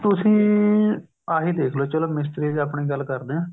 ਤੁਸੀਂ ਆਹੀ ਦੇਖਲੋ ਚਲੋ ਮਿਸਤਰੀਆਂ ਦੀ ਆਪਣੀ ਗੱਲ ਕਰਦੇ ਹਾਂ